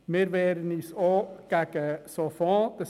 Wir wehren uns zudem gegen solche Fonds.